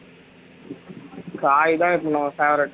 காய் தான் இப்போ நம்ம favourite